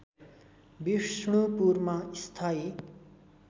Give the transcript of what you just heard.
विष्णुपुरमा स्थायी